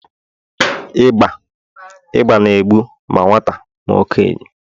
ịba na-egbu ma nwata ma okenye